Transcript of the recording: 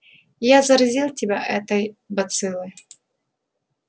я заразил тебя этой бациллой